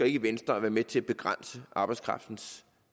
i venstre at være med til at begrænse arbejdskraftens